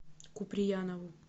куприянову